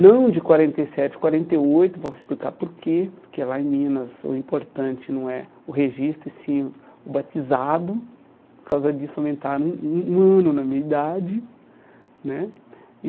Não de quarenta e sete, quarenta e oito, vou explicar porquê, porque lá em Minas o importante não é o registro, e sim o batizado, por causa disso aumentaram um um um ano na minha idade né. E